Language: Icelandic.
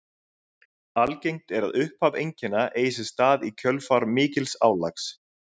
Algengt er að upphaf einkenna eigi sér stað í kjölfar mikils álags.